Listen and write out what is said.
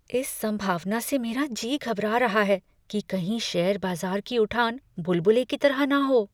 इस संभावना से मेरा जी घबरा रहा है कि कहीं शेयर बाज़ार की उठान बुलबुले की तरह न हो।